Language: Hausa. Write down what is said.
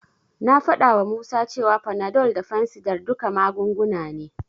Na faɗawa Musa cewa Panadol da fansidar duka magunguna ne.